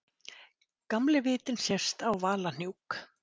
Gamli vitinn sést á Valahnúk.